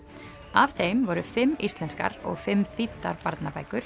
af þeim voru fimm íslenskar og fimm þýddar barnabækur